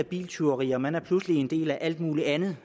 biltyverier man er pludselig en del af alt muligt andet